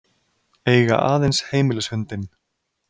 Eiga aðeins heimilishundinn